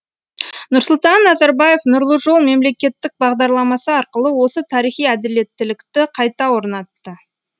нұрсұлтан назарбаев нұрлы жол мемлекеттік бағдарламасы арқылы осы тарихи әділеттілікті қайта орнатты